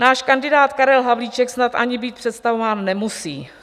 Náš kandidát Karel Havlíček snad ani být představován nemusí.